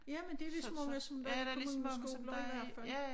Jamen det vist mange som der er så mange skoler i hvert fald